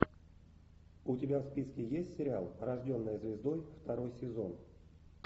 у тебя в списке есть сериал рожденная звездой второй сезон